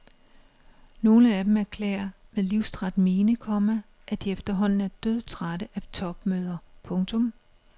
Nogle af dem erklærer med livstræt mine, komma at de efterhånden er dødtrætte af topmøder. punktum